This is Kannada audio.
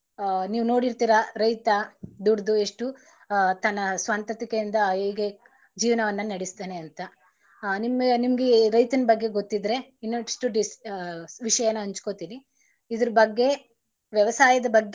ಹ ನೀವು ನೋಡಿರ್ತಿರಾ, ರೈತ ದುಡದು ಎಷ್ಟು ಹ ತನ್ನ ಸ್ವಂತತಿಕೆ ಇಂದ ಹೇಗೆ ಜೀವನವನ್ನ ನೆಡಸ್ತಾನೆ ಅಂತ ಹ ನಿಮಗೆ~ ನಿಮಗೆ ರೈತನ ಬಗ್ಗೆ ಗೊತ್ತಿದರೆ ಇನ್ನಷ್ಟು ವಿಷಯಾನ ಹಂಚ್ಕೋತಿನಿ ಇದರ ಬಗ್ಗೆ ವ್ಯವಸಾಯದ.